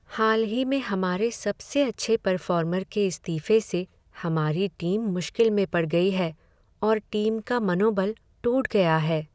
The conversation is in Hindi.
हाल ही में हमारे सबसे अच्छे पर्फॉर्मर के इस्तीफे से हमारी टीम मुश्किल में पड़ गई है और टीम का मनोबल में टूट गया है।